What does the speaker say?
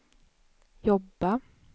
jobba